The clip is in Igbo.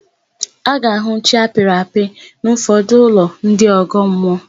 A ga-ahụ chi apịrị apị n'ụfọdụ ụlọ ndị ọgọmmụọ.